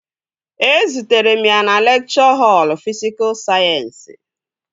Ezutere m ya na lekchọ họl fisikul sayensị